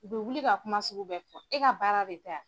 U bɛ wuli ka kuma sugu bɛɛ fɔ e ka baara de tɛ!